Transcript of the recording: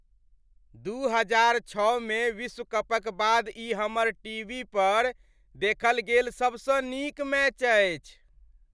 दू हजार छओ मे विश्व कपक बाद ई हमर टीवी पर देखल गेल सबसँ नीक मैच अछि।